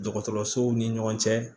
Dɔgɔtɔrɔsow ni ɲɔgɔn cɛ